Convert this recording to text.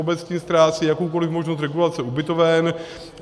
Obecně ztrácí jakoukoli možnost regulace ubytoven.